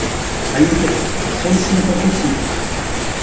ал енді соны сингапурлықтар түсінген